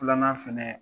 Filanan fɛnɛ